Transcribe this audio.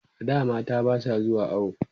a da mata Basu zuwa awo